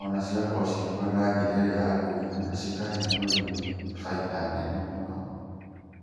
o na cigakorwo cigĩkũra na njĩra ĩrĩa yagĩrĩire na cikahe mũrĩmi bainda nene mũno.